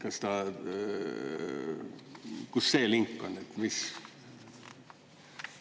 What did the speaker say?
Kas ta … kus see link on?